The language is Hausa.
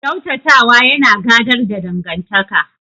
Ƙyautata wa yana gadar da dangantaka.